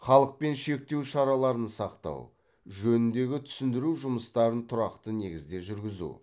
халықпен шектеу шараларын сақтау жөніндегі түсіндіру жұмыстарын тұрақты негізде жүргізу